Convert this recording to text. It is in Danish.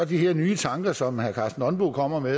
de her nye tanker som herre karsten nonbo kommer med